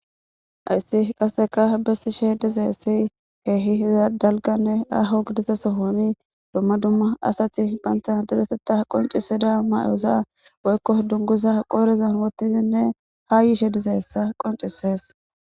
ayssi qasseka bessishe dizeessi keehi za dalganne aho gidiza sohoni dumma dumma asati phantha deretetta qonciseda may7oza boykko dungusa qoorezan wottizinne ha yiishe dizeessa qoncisees